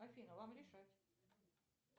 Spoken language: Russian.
афина вам решать